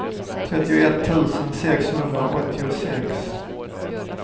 trettioett tusen sexhundraåttiosex